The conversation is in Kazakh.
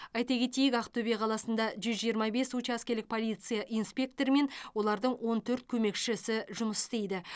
айта кетейік ақтөбе қаласында жүз жиырма бес учаскелік полиция инспекторы мен олардың он төрт көмекшісі жұмыс істейді